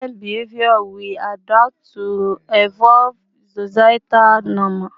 Children's behavior will adapt to evolving societal norms